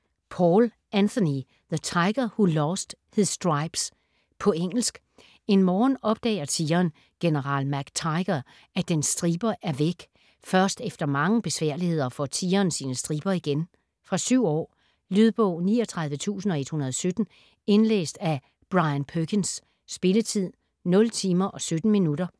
Paul, Anthony: The tiger who lost his stripes På engelsk. En morgen opdager tigeren, general MacTiger, at dens striber er væk. Først efter mange besværligheder får tigeren sine striber igen. Fra 7 år. Lydbog 39117 Indlæst af Brian Perkins. Spilletid: 0 timer, 17 minutter.